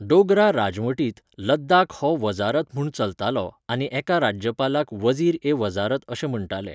डोगरा राजवटींत लद्दाख हो वझारत म्हूण चलतालो आनी एका राज्यपालाक वझीर ए वजारत अशें म्हण्टाले.